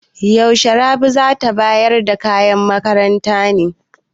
Yaushe Rabi za ta bayar da kayan makaranta ne?